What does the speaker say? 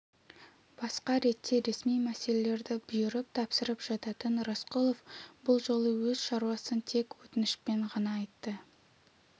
басқа ретте ресми мәселелерді бұйырып тапсырып жататын рысқұлов бұл жолы өз шаруасын тек өтінішпен ғана айтты